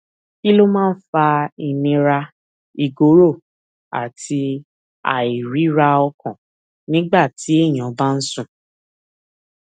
kí ló máa ń fa ìnira ìgòrò àti àìríraọkàn nígbà téèyàn bá ń sùn